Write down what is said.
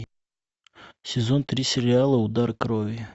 сезон три сериала удар крови